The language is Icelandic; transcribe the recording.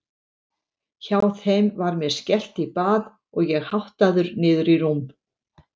Hjá þeim var mér skellt í bað og ég háttaður niður í rúm.